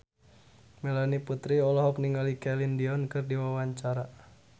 Melanie Putri olohok ningali Celine Dion keur diwawancara